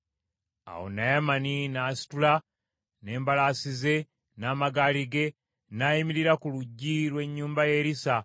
Awo Naamani n’asitula n’embalaasi ze n’amagaali ge n’ayimirira ku luggi lw’ennyumba ya Erisa.